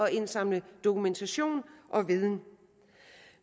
at indsamle dokumentation og viden